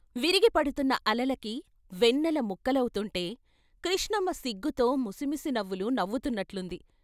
విరిగిపడుకున్న అలలకి వెన్నెల ముక్కలవుతుంటే కృష్ణమ్మ సిగ్గుతో ముసిముసి నవ్వులు నవ్వుతున్నట్లుంది.